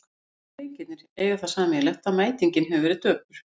Allir leikirnir eiga það sameiginlegt að mætingin hefur verið döpur.